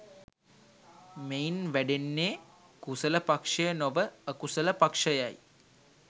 මෙයින් වැඩෙන්නේ කුසල පක්‍ෂය නොව අකුසල පක්‍ෂයයි.